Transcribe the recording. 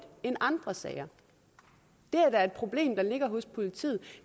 end andre sager det er da et problem der ligger hos politiet